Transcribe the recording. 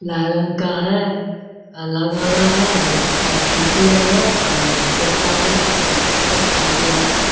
लाल रंग का हेय लगा हुआ हेय और खिड़की आर हेय और गेटा हेय सब कुछ हेय खिड़की आर हेय ।